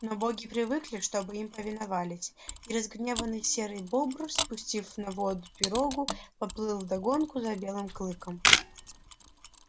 но боги привыкли чтобы им повиновались и разгневанный серый бобр спустив на воду пирогу поплыл вдогонку за белым клыком